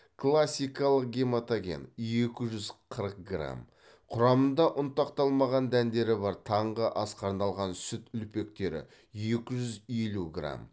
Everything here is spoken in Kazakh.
классикалық гематоген екі жүз қырық грамм құрамында ұнтақталмаған дәндері бар таңғы асқа арналған сүт үлпектері екі жүз елу грамм